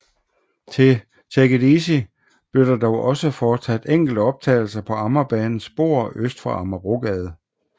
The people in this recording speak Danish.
Til Take It Easy blev der dog også foretaget enkelte optagelser på Amagerbanens spor øst for Amagerbrogade